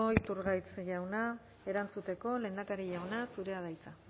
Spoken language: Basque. iturgaiz jauna erantzuteko lehendakari jauna zurea da hitza